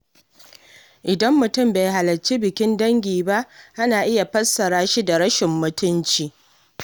Idan mutum bai halarci bikin dangi ba, ana iya fassara shi da rashin mutunci.